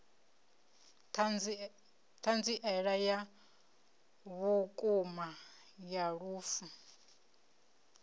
thanziela ya vhukuma ya lufu